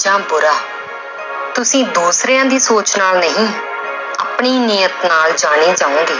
ਜਾਂ ਬੁਰਾ ਤੁਸੀਂ ਦੂਸਰਿਆਂ ਦੀ ਸੋਚ ਨਾਲ ਨਹੀਂ ਆਪਣੀ ਨੀਯਤ ਨਾਲ ਜਾਣੇ ਜਾਵੋਗੇ